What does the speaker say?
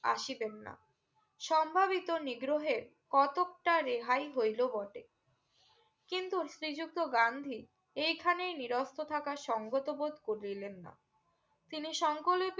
আশীবেন না সম্ভাবিত নিদ্রহের কটক্তারে হাই হইলো বটে কিন্তু শ্রী যুক্ত গান্ধী এই খানে নিরস্ত্র থাকা সঙ্গত বোধ করিলেন না তিনি সঙ্কলে